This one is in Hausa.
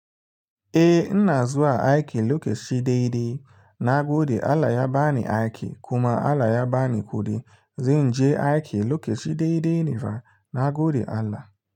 Eh, ina zuwa aiki lokaci daidai. Na gode Allah ya ba ni aiki kuma Allah ya ba ni kuɗi. Zanje aiki lokaci daidai ne fa, na gode Allah.